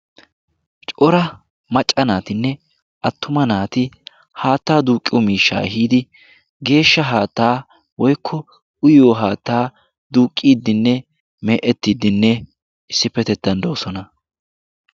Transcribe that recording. cora macca naatinee attuma naati haattaa duqqiyoo miishshaa ehiidi geeshsha haattaa woykko uyiyoo haattaa duuqqidinne me'ettidinne issipetettan doosona.